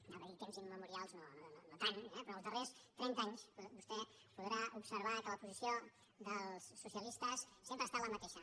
anava a dir temps immemorials no no tant eh però els darrers trenta anys vostè podrà observar que la posició dels socialistes sempre ha estat la mateixa